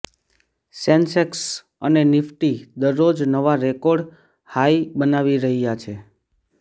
Sensex અને Nifty દરરોજ નવા રેકોર્ડ હાઈ બનાવી રહ્યા છે